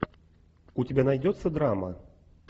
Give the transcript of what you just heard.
у тебя найдется драма